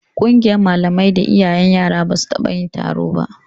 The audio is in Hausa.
Ƙungiyar malamai da iyayen yaran ba su taɓa yin taro ba